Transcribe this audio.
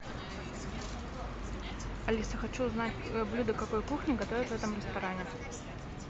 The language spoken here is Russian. алиса хочу узнать блюда какой кухни готовят в этом ресторане